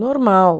Normal.